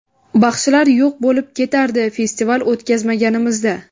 Baxshilar yo‘q bo‘lib ketardi festival o‘tkazmaganimizda.